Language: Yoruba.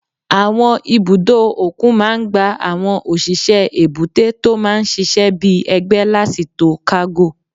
Àwọn ibùdó òkun máa n gba àwọn òṣìṣẹ́ èbúté tó máa n ṣiṣẹ́ bíi ẹgbẹ́ láti to kágò